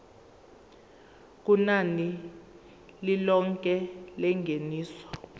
kunani lilonke lengeniso